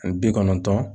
Ani bi kɔnɔntɔn